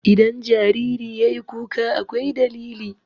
Idan jariri yayi kuka akwai dalili.